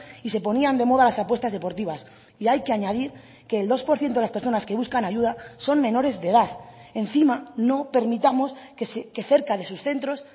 y se ponían de moda las apuestas deportivas y hay que añadir que el dos por ciento de las personas que buscan ayuda son menores de edad encima no permitamos que cerca de sus centros